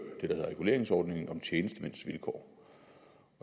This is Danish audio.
hedder reguleringsordningen for tjenestemænds vilkår